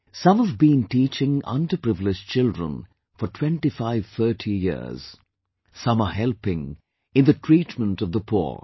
Some have been teaching underprivileged children for 2530 years, some are helping in the treatment of the poor